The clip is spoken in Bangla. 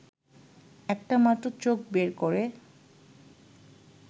একটা মাত্র চোখ বের করে